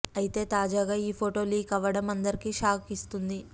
అయితే తాజాగా ఈ ఫోటో లీక్ అవ్వడం అందరికి షాక్ ఇస్తుంది